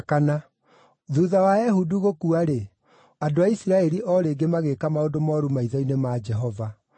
Thuutha wa Ehudu gũkua-rĩ, andũ a Isiraeli o rĩngĩ magĩĩka maũndũ mooru maitho-inĩ ma Jehova.